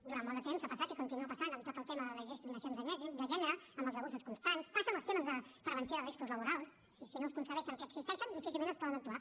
durant molt de temps ha passat i continua passant amb tot el tema de les discriminacions de gènere amb els abusos constants passa amb els temes de prevenció de riscos laborals si no es conceben que existeixen difícilment es pot actuar